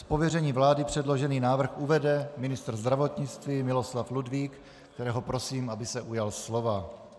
Z pověření vlády předložený návrh uvede ministr zdravotnictví Miloslav Ludvík, kterého prosím, aby se ujal slova.